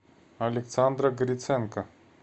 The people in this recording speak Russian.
александра гриценко